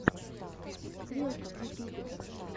стрелка в ютубе